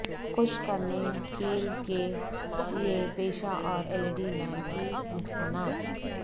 خشک کرنے کیل کے لئے پیشہ اور یلئڈی لیمپ کی نقصانات